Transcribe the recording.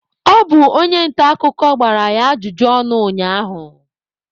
Ọ bụ onye nta akụkọ gbara ya ajụjụ ọnụ ụnyaahụ.